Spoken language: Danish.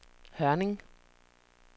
Hørning